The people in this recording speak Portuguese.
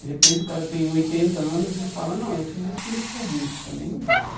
De repente o cara tem oitenta anos e fala, não, eu fiz isso quando eu tinha vinte, também não vale.